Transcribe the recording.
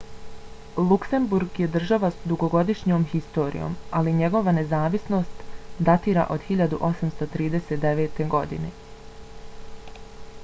luksemburg je država s dugogodišnjom historijom ali njegova nezavisnost datira od 1839. godine